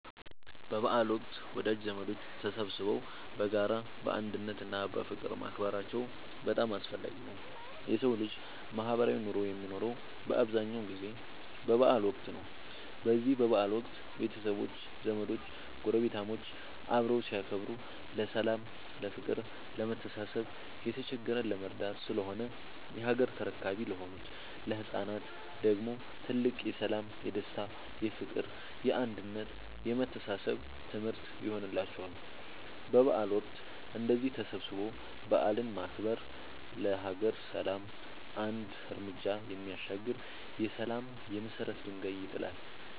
በበዓል ወቅት ወዳጅ ዘመዶች ተሰባስበው በጋራ፣ በአንድነት እና በፍቅር ማክበራቸው በጣም አስፈላጊ ነው የሠው ልጅ ማህበራዊ ኑሮ የሚኖረው በአብዛኛው ጊዜ በበዓል ወቅት ነው። በዚህ በበዓል ወቅት ቤተሰቦች፣ ዘመዶች ጐረቤታሞች አብረው ሲያከብሩ ለሠላም፤ ለፍቅር፣ ለመተሳሰብ፣ የተቸገረን ለመርዳት ስለሆነ የሀገር ተረካቢ ለሆኑት ለህፃናት ደግሞ ትልቅ የሠላም፣ የደስታ፣ የፍቅር፣ የአንድነት የመተሳሰብ ትምህርት ይሆንላቸዋል። በበዓል ወቅት እንደዚህ ተሰባስቦ በዓልን ማክበር ለሀገር ሰላም አንድ ርምጃ የሚያሻግር የሠላም የመሰረት ድንጋይ ይጥላል።